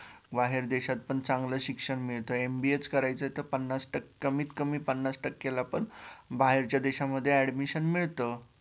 बाहेर देशात पण चागलं शिक्षण मिळतं MBA च करायचे तर पन्नास टक्के कमीत कमी पन्नास टक्के ला पण बाहेरच्या देश्यामध्ये admission मिळतं